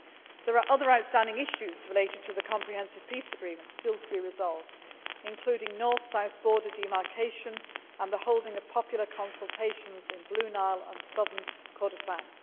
There are other outstanding issues related to the Comprehensive Peace Agreement still to be resolved, including North South border demarcation and the holding of popular consultations in Blue Nile and Southern Kordofan.